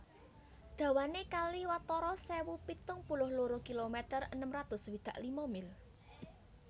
Dawané kali watara sewu pitung puluh loro kilometer enem atus swidak lima mil